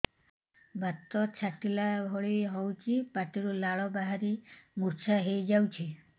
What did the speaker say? ବାତ ଛାଟିଲା ଭଳି ହଉଚି ପାଟିରୁ ଲାଳ ବାହାରି ମୁର୍ଚ୍ଛା ହେଇଯାଉଛି